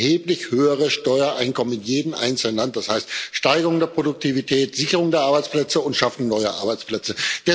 Das heißt ein erheblich höheres Steuereinkommen in jedem einzelnen Land, das heißt Steigerung der Produktivität, Sicherung der Arbeitsplätze und Schaffung neuer Arbeitsplätze.